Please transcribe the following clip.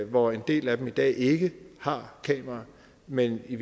hvoraf en del af dem i dag ikke har kameraer men i